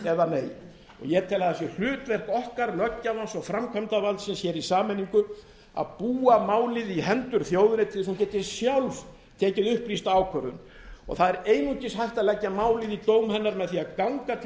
eða nei ég tel að það sé hlutverk okkar löggjafans og framkvæmdarvaldsins í sameiningu að búa málið í hendur þjóðarrétti svo hún geti sjálf tekið upplýsta ákvörðun og það er einungis hægt að leggja málin í dóm hennar með því að ganga til hennar